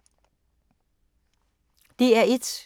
DR1